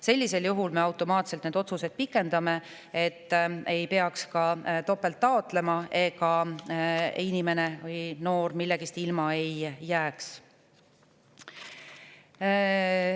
Sellisel juhul me pikendame neid otsuseid automaatselt, et ei peaks topelt taotlema ja noor millestki ilma ei jääks.